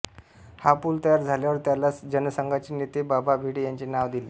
हा पूल तयार झाल्यावर त्याला जनसंघाचे नेते बाबा भिडे यांचे नाव दिले